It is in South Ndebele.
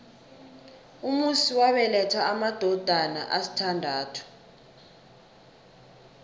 umusi wabeletha amadodana asithandathu